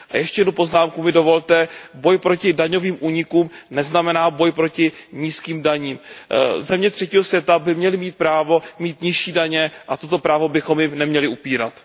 A ještě jednu poznámku mi dovolte, boj proti daňovým únikům neznamená boj proti nízkým daním. Země třetího světa by měly mít právo mít nižší daně a toto právo bychom jim neměli upírat.